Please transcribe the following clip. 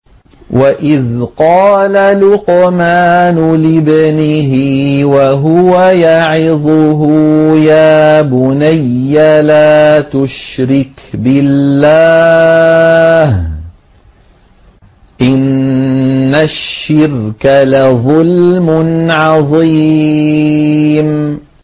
وَإِذْ قَالَ لُقْمَانُ لِابْنِهِ وَهُوَ يَعِظُهُ يَا بُنَيَّ لَا تُشْرِكْ بِاللَّهِ ۖ إِنَّ الشِّرْكَ لَظُلْمٌ عَظِيمٌ